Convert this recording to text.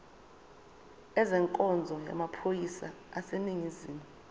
ezenkonzo yamaphoyisa aseningizimu